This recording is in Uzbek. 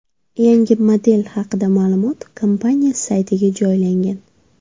Yangi model haqida ma’lumot kompaniya saytiga joylangan .